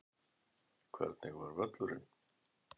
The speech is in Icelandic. Hvernig var völlurinn?